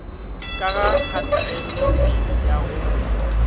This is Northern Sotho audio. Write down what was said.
ka ga kgatelopele ya go